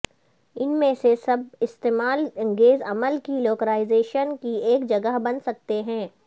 ان میں سے سب اشتعال انگیز عمل کی لوکلائزیشن کی ایک جگہ بن سکتے ہیں